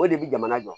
O de bi jamana jɔ